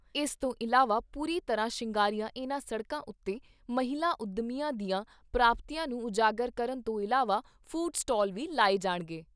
ਇਸ ਤੋਂ ਇਲਾਵਾ ਪੂਰੀ ਤਰ੍ਹਾਂ ਸ਼ਿੰਗਾਰੀਆਂ ਇਨ੍ਹਾਂ ਸੜਕਾਂ ਉਤੇ ਮਹਿਲਾ ਉਦਮੀਆਂ ਦੀਆਂ ਪ੍ਰਾਪਤੀਆਂ ਨੂੰ ਉਜਾਗਰ ਕਰਨ ਤੋਂ ਇਲਾਵਾ ਫੂਡ ਸਟਾਲ ਵੀ ਲਾਏ ਜਾਣਗੇ।